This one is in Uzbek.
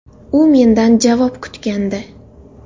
U mendan javob kutgandi.